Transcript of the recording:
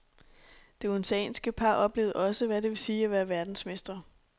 Det odenseanske par oplevede også, hvad det vil sige at være verdensmestre.